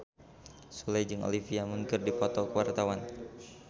Sule jeung Olivia Munn keur dipoto ku wartawan